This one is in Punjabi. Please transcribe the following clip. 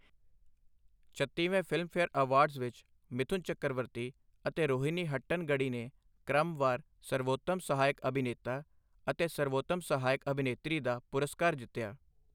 ਛੱਤੀਵੇਂ ਫ਼ਿਲਮਫੇਅਰ ਅਵਾਰਡਸ ਵਿਚ ਮਿਥੁਨ ਚੱਕਰਵਰਤੀ ਅਤੇ ਰੋਹਿਨੀ ਹੱਟਨਗੜੀ ਨੇ ਕ੍ਰਮਵਾਰ ਸਰਵੋਤਮ ਸਹਾਇਕ ਅਭਿਨੇਤਾ ਅਤੇ ਸਰਵੋਤਮ ਸਹਾਇਕ ਅਭਿਨੇਤਰੀ ਦਾ ਪੁਰਸਕਾਰ ਜਿੱਤਿਆ।